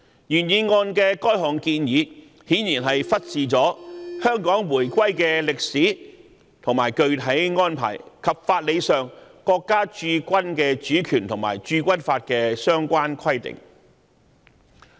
原議案的該項建議顯然忽視了香港回歸的歷史背景和具體安排，以及國家駐軍的主權和法理依據及《駐軍法》的相關規定。